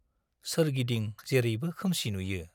सोरगिदिं जेरैबो खोमसि नुयो।